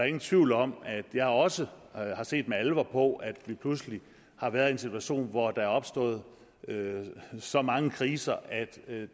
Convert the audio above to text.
ingen tvivl om at jeg også har set med alvor på at vi pludselig har været i en situation hvor der er opstået så mange kriser at